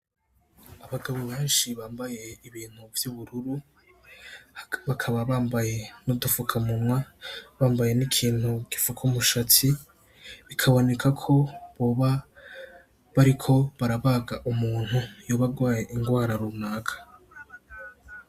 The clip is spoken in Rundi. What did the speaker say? Abagabo benshi bambaye ibintu vy'ubururu, bakaba bambaye n'udufukamunwa bambaye n'ikintu gifuka umushatsi, bikaboneka ko boba bariko barabaga umuntu yoba agwaye ingwara runaka.